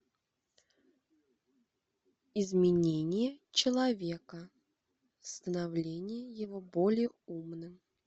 изменение человека становление его более умным